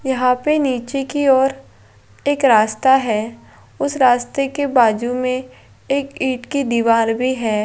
यहाँ पे नीच की और एक रास्ता है | उस रास्ते के बाजु में एक ईट की दीवार भी है |